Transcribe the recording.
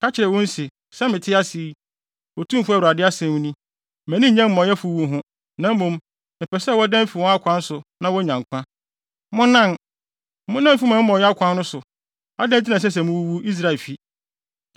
Ka kyerɛ wɔn se, ‘Sɛ mete ase yi, Otumfo Awurade asɛm ni, mʼani nnye amumɔyɛfo wu ho, na mmom mepɛ sɛ wɔdan fi wɔn akwan so na wonya nkwa. Monnan! Monnan mfi mo amumɔyɛ akwan no so! Adɛn nti na ɛsɛ sɛ muwuwu, Israelfi?’